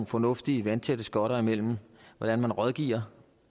fornuftige vandtætte skotter imellem hvordan man rådgiver